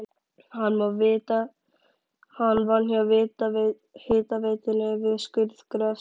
Hann vann hjá hitaveitunni við skurðgröft.